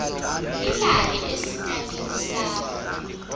ilale esitalini sakho